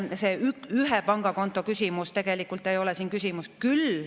See ühe pangakonto küsimus ei ole siin.